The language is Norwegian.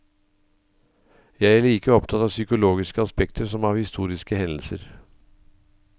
Jeg er like opptatt av psykologiske aspekter som av historiske hendelser.